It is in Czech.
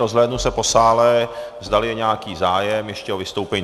Rozhlédnu se po sále, zdali je nějaký zájem ještě o vystoupení.